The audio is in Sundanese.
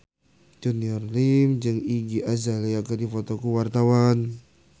Junior Liem jeung Iggy Azalea keur dipoto ku wartawan